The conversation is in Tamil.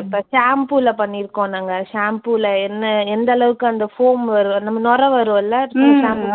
இப்ப shampoo ல பண்ணியிருக்கோம் நாங்க. shampoo ல என்ன எந்தளவுக்கு அந்த foam வரும், நம்ம நுரை வருமில்ல